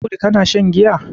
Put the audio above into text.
Audu kana shan giya?